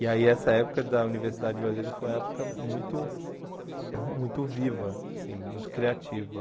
E aí essa época da Universidade de Brasília foi uma época muito muito viva, assim muito criativa.